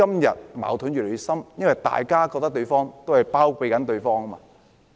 因為大家都覺得對方在包庇己方。